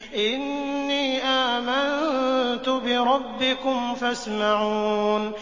إِنِّي آمَنتُ بِرَبِّكُمْ فَاسْمَعُونِ